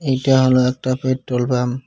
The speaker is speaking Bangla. এইটা হল একটা পেট্রোলপাম্প --